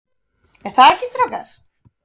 ER ÞAÐ EKKI, STRÁKAR?